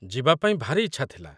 ଯିବା ପାଇଁ ଭାରି ଇଚ୍ଛା ଥିଲା